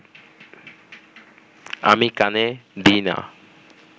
আমি কানে দিই না